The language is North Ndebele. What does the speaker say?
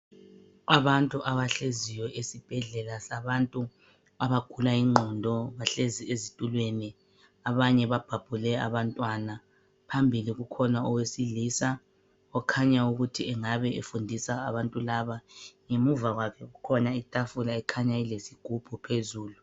Abantu abahleziyo esibhedlela sabantu abagula ingqondo. Bahlezi ezitulweni abanye babhabhule abantwana. Phambili kukhona owesilisa okhanya ukuthi engabe efundisa abantu laba. Ngemuva kwakhe kukhona itafula ekhanya elesigubhu phambili.